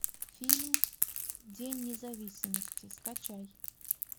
фильм день независимости скачай